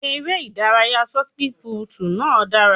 Eré ìdárayá ṣọtipúùtù náà dára.